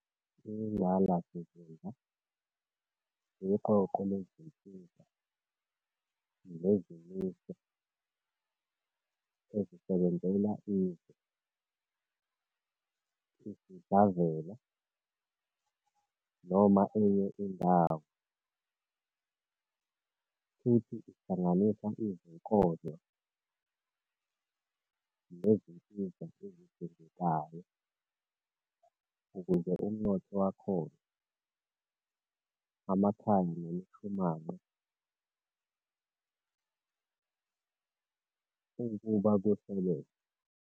Ingqalasizinda iqoqo lezinsiza nezimiso ezisebenzela izwe, isidlavela, noma enye indawo, futhi ihlanganisa izinkonzo nezinsiza ezidingekayo ukuze umnotho wakhona, amakhaya nemishumanqa ukuba kusebenze.